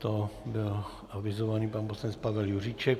To bylo avizované, pan poslanec Pavel Juříček.